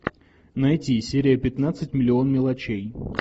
найти серия пятнадцать миллион мелочей